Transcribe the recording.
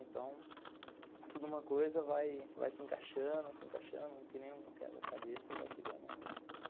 Então, tudo uma coisa vai vai se encaixando, se encaixando, que nem um quebra a cabeça e vai chegando.